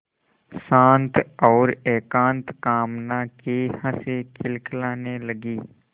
शांत और एकांत कामना की हँसी खिलखिलाने लगी